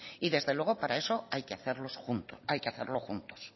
y desde luego para eso hay que hacerlo juntos